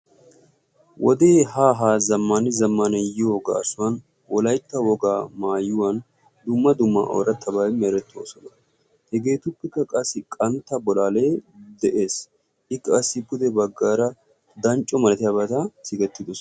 Wodee haa haa zammaan zammaan yiyo gaasuwan wolaytta wogaa maayuwan dumma dumma oorattabay merettoosona. Hegeetuppekka qassi qantta bolaalee de'ees. I qassi pude baggaara dancco malatiyabata sikettidosona.